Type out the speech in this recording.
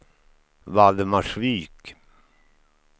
Valdemarsvik